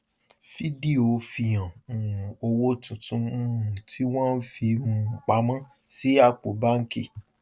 fídíò fihan um owó tuntun um tí wọn fi um pamọ sí àpò báńkì